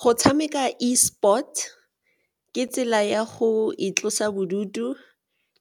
Go tshameka E sport ke tsela ya go itlosa bodutu